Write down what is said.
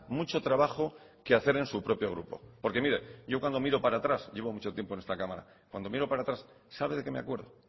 mucho trabajo que hacer en su propio grupo porque mire yo cuando miro para atrás llevo mucho tiempo en esta cámara cuando miro para atrás sabe de qué me acuerdo